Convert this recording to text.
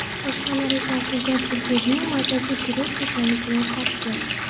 Boshqalar esa aslida burgerning mazasi durust ekanligini ta’kidladi.